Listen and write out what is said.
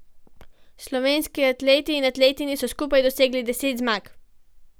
Slovenski atleti in atletinje so skupaj dosegli deset zmag.